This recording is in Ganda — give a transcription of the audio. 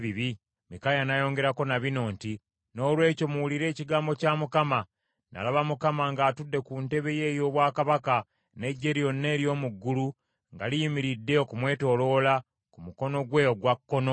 Mikaaya n’ayongerako na bino nti, “Noolwekyo muwulire ekigambo kya Mukama : Nalaba Mukama ng’atudde ku ntebe ye ey’obwakabaka n’eggye lyonna ery’omu ggulu nga liyimiridde okumwetooloola ku mukono gwe ogwa kkono.